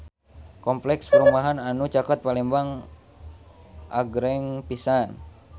Kompleks perumahan anu caket Palembang agreng pisan